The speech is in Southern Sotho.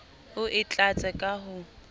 o e tlatse ka ho